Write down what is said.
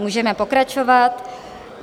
Můžeme pokračovat.